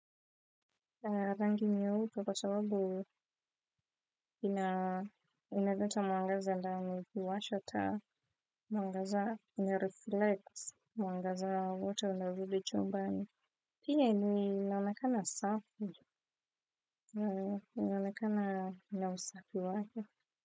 Rangi nyeupe kwa sababu inaleta mwangaza ndani. Huwasha taa, mwangaza inareflect mwangaza wote wa vile chumbani. Pia inaonekana safi. Inaonekana na usafi wake.